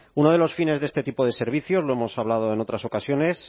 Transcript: uno de los fines de este tipo de servicios lo hemos hablado en otras ocasiones